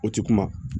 O ti kuma